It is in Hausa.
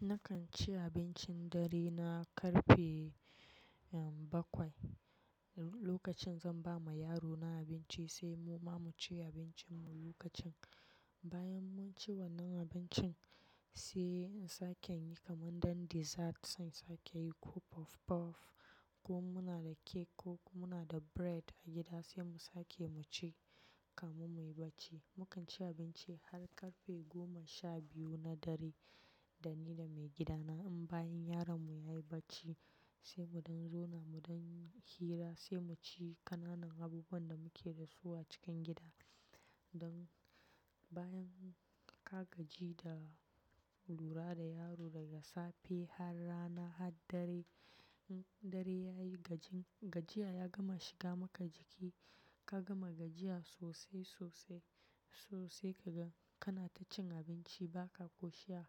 Nakan ci abincin dare na karfe, eh, bakwai. Lokacin zan ba ma yaro na abinci sai mu ma mu ci abincin mu lokacin. Bayan mun ci wannan abincin sai in sake in yin kamar dan dessert, sai insake yin ko puf- puff, ko muna da cake, ko muna da bread a gida, sai mu sake mu ci kamun muyi bacci. Mu kan ci abinci har karfe goma sha biyu na dare. Da ni da maigida na. In bayan yaron mu yayi bacci sai mu dan zauna mu dan hira sai mu ci ƙananan abubuwan da muke da su a cikin gida. Don bayan ka gaji da lura da yaro daga safe, har rana, har dare, in dare yayi gajin, gajiya ya gama shiga maka jiki. Ka gama gajiya sosai, sosai, so sai kaga kana ta cin abinci ba ka koshiya.